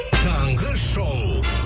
таңғы шоу